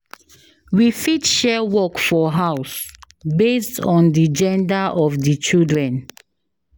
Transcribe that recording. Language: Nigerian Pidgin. We fit share work for house based on di gender of di children